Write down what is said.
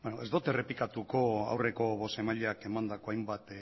beno ez dut errepikatuko aurreko bozeramaileak emandako hainbat